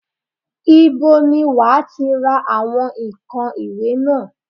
Ibo ni wà á ti ra àwọn ǹkan ìwẹ̀ náà?